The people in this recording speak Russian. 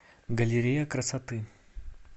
галерея красоты